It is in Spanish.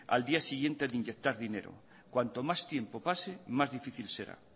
el día siguiente de inyectar dinero cuanto más tiempo pase más difícil será